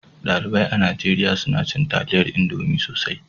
Dalibai a Nijeriya suna cin taliyar Indomi sosai.